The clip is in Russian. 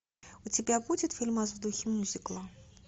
у тебя будет фильмас в духе мюзикла